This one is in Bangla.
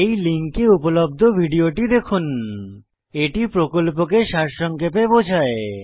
এই লিঙ্কে উপলব্ধ ভিডিওটি দেখুন httpspoken tutorialorgWhat is a Spoken Tutorial এটি প্রকল্পকে সারসংক্ষেপে বোঝায়